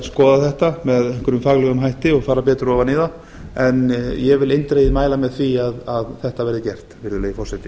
skoða þetta með einhverjum faglegum hætti og fara betur ofan í það en ég vil eindregið mæla með því að þetta verði gert virðulegi forseti